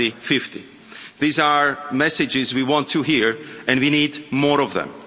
2050. These are messages we want to hear and we need more of them.